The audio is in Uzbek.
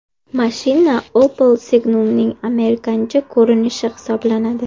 Mashina Opel Signum’ning amerikancha ko‘rinishi hisoblanadi.